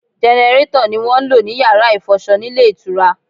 Gẹnẹrétọ̀ ni wọ́n ń lò ní Yàrá ìfọṣọ nílé ìtura.